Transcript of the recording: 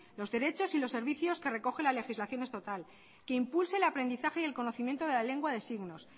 los derechos y los servicios que recoge la legislación estatal que impulse el aprendizaje y el conocimiento de la lengua de signos